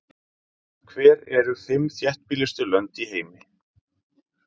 Hver eru fimm þéttbýlustu lönd í heimi?